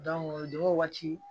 o de waati